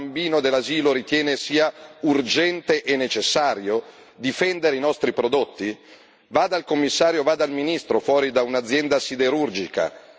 Vi sembra normale che si stia dibattendo da tre anni di qualcosa che un bambino dell'asilo ritiene sia urgente e necessario, cioè difendere i nostri prodotti?